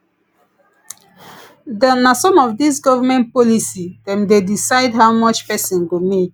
na some of dis government policy dem dey decide how much pesin go make